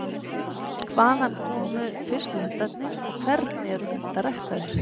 Hvaðan komu fyrstu hundarnir og hvernig eru hundar ræktaðir?